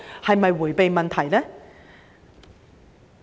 是否迴避問題呢？